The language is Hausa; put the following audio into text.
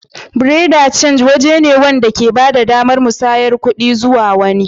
Buerea de change waje ne wanda ke ba da damar musayar kuɗi zuwa wani.